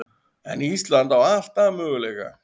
En Ísland á alltaf möguleika